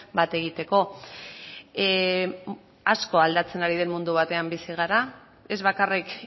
bat egiteko asko aldatzen ari den mundu batean bizi gara ez bakarrik